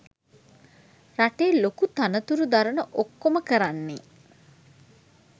රටේ ලොකු තනතුරු දරන ඔක්‌කොම කරන්නේ